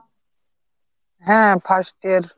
হ্যা first year